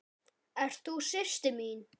Ert þú systir mín?